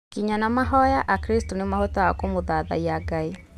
Nginya na mahoya akristo nĩ mahotaga kũmũthathaiya Ngai